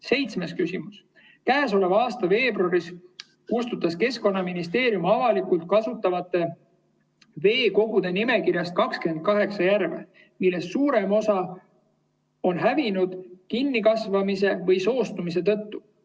Seitsmes küsimus: "Käesoleva aasta veebruaris kustutas Keskkonnaministeerium avalikult kasutatavate veekogude nimekirjast 28 järve, millest suurem osa oli hävinud kinnikasvamise või soostumise tõttu.